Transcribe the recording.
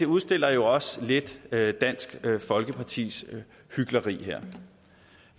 udstiller jo også lidt lidt dansk folkepartis hykleri